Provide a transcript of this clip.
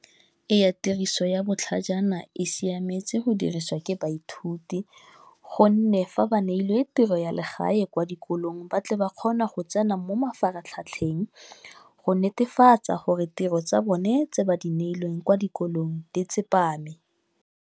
iye actress yabo church yona i siyame cultures ke baye sithuthi ukghone nefree aba nepilo history elirhabako gwala yikoloyi ubhadale bakghona ekghodwana mafu ekuthatheni ukghone interface akghone pitrol zabo native badanile yincwacli ikoloyi lekampani